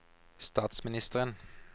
statsministeren